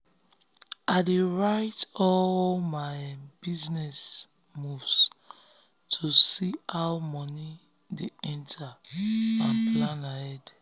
i dey write down all my um business moves to see how money dey enter and plan ahead.